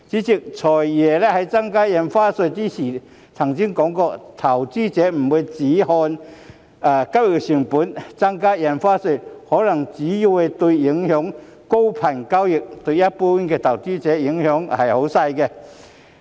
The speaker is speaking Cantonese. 主席，"財爺"在宣布增加印花稅時提到，投資者不會只看交易成本，增加印花稅可能只會影響高頻交易，但對一般投資者的影響較輕微。